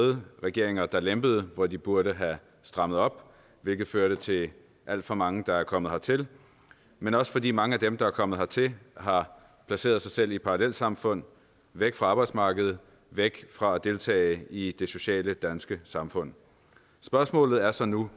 røde regeringer der lempede hvor de burde have strammet op hvilket førte til alt for mange der er kommet hertil men også fordi mange af dem der er kommet hertil har placeret sig selv i et parallelsamfund væk fra arbejdsmarkedet væk fra at deltage i det sociale danske samfund spørgsmålet er så nu